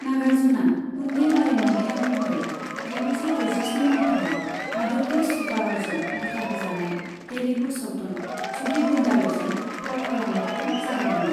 नागार्जुनआ उन्दै आरिमुगिरि महरै जिगुजौ दजिस्नि माइथायाव आदुर्ति सुब्बा रावजों दिथा होजानाय तेलुगु सावथुन 'सुडीगुंडालु'जों फाव खालामनायखौ जागायदोंमोन।